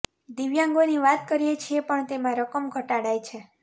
દિવ્યાંગોની વાત કરીએ છીએ પણ તેમાં રકમ ઘટાડાય છે